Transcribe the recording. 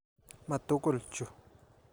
Ma tukul chu.